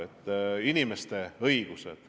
Nende õigused on olulised.